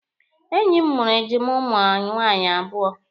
Enyi m mụrụ ejima ụmụ nwaanyị abụọ.